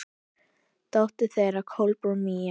Dóttir þeirra: Kolbrún Mía.